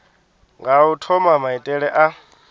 nga u thoma maitele a